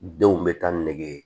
Denw bɛ taa nege ye